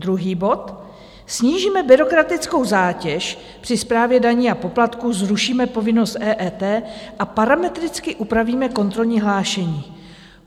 Druhý bod: "Snížíme byrokratickou zátěž při správě daní a poplatků, zrušíme povinnost EET a parametricky upravíme kontrolní hlášení."